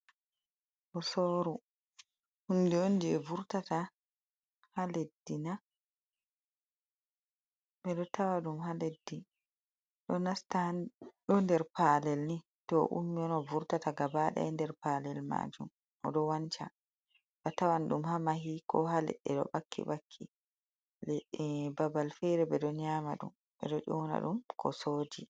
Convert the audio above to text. Kosoru hunɗi on ɗe oj je vurtata ha leɗɗi ɗo na? Be ɗo tawa ɗum ha leɗɗi. Ɗo nder palel ni to oummi on o vurtata gabadai nder palel majum. Oɗo wanca. Atawan ɗum ha mahi ko haleɗɗe ɗo bakki bakki babal fere beɗo nyama ɗum. Beɗo ona ɗum kosoji.